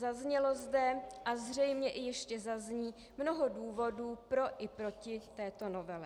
Zaznělo zde a zřejmě i ještě zazní mnoho důvodů pro i proti této novele.